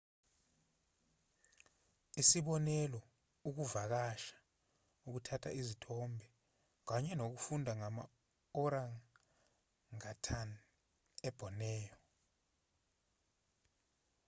isibonelo ukuvakasha ukuthatha izithombe kanye nokufunda ngama-orangatan eborneo